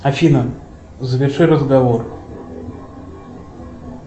афина заверши разговор